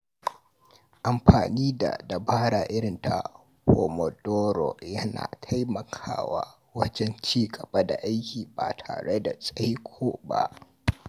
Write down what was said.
Amfani da dabara irin ta Pomodoro yana taimakawa wajen ci gaba da aiki ba tare da tsaiko ba.